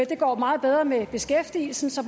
det går meget bedre med beskæftigelsen så